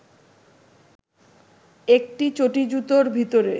একটি চটি-জুতোর ভিতরে